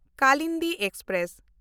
Kalindi express